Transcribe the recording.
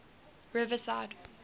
riverside